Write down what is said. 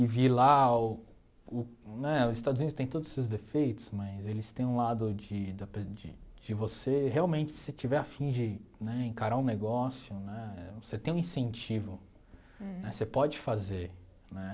E vi lá, o né os Estados Unidos tem todos os seus defeitos, mas eles têm um lado de da pe de de você, realmente, se você tiver afim de né encarar um negócio né, você tem um incentivo né, você pode fazer né.